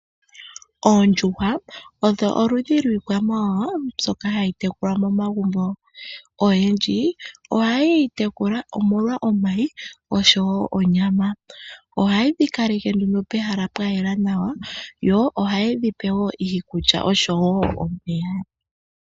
Oondjuhwa odho oludhi lwiikwamawawa mbyoka hayi tekulwa momagumbo. Oyendji ohaye yi tekula omolwa omayi osho wo onyama. OHaye dhi kaleke nduno pehala pwa yela nawa yo ohaye dhi pe wo iikulya osho wo omeya.